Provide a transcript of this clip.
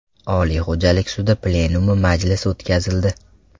Oliy xo‘jalik sudi plenumi majlisi o‘tkazildi.